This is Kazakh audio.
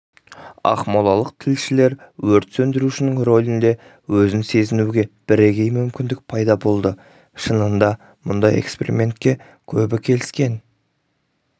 ақмолалық тілшілер өрт сөндірушінің рөлінде өзін сезінуге бірегей мүмкіндік пайда болды шынында мұндай экспериментке көбі келіскен